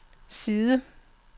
side